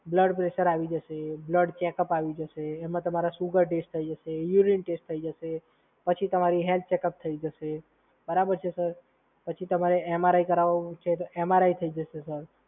એમ તમારૂ blood pressure આવી જશે, બ્લડ ચેકઅપ આવી જશે, એમાં તમારા સુગર ટેસ્ટ આવી જશે, યુરીન ટેસ્ટ આવી જશે અને પછી તમારું હેલ્થ ચેકઅપ થઈ જશે. બરાબર છે, સર? પછી તમારે MRI કરાવવો હોય છે તો MRI થઈ જશે સર.